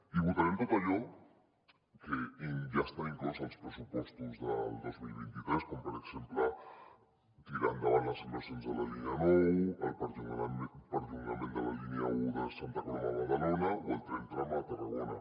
i votarem tot allò que ja està inclòs als pressupostos del dos mil vint tres com per exemple tirar endavant les inversions de la línia nou el perllongament de la línia un de santa coloma a badalona o el tren tram a tarragona